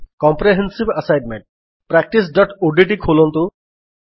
comprehensive assignment practiceଓଡିଟି ଖୋଲନ୍ତୁ